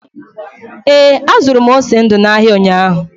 Ee, azụrụ m ose ndu n’ahịa ụnyahụ.